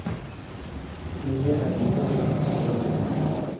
Unga Aziza deb ism qo‘yishdi.